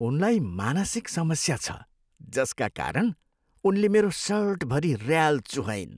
उनलाई मानसिक समस्या छ जसका कारण उनले मेरो सर्टभरि ऱ्याल चुहाइन्।